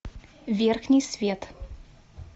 верхний свет